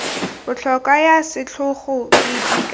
botlhokwa ya setlhogo di ka